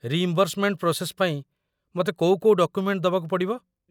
Reimbursement process ପାଇଁ ମତେ କୋଉ କୋଉ ଡକୁମେଣ୍ଟ ଦବାକୁ ପଡ଼ିବ?